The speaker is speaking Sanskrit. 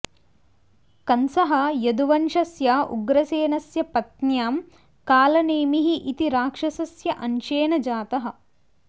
कंसः यदुवंशस्य उग्रसेनस्य पत्न्यां कालनेमिः इति राक्षस्य अंशेन जातः